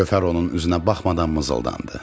Gövhər onun üzünə baxmadan mızıldandı.